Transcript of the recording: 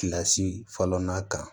Kilasi fɔlɔ na kan